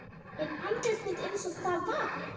Er andlit mitt einsog það var.